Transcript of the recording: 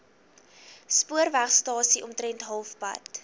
spoorwegstasie omtrent halfpad